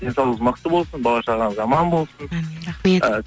денсаулығыңыз мықты болсын бала шағаңыз аман болсын әмин рахмет